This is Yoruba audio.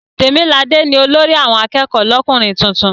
Tèmiladé ni olórí àwọn akẹ́kọ̀ọ́ lọ́kùnrin tuntun.